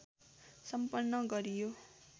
सम्पन्न गरियो